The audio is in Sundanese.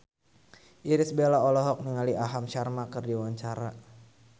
Irish Bella olohok ningali Aham Sharma keur diwawancara